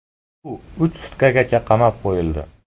U uch sutkagacha qamab qo‘yildi.